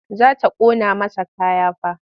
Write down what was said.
Za ta ƙona masa kaya fa.